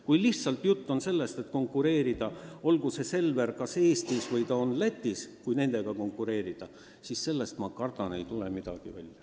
Kui aga jutt on sellest, et konkureerida Selveriga kas Eestis või Lätis – ma kardan, sellest ei tule väikepoodidel midagi välja.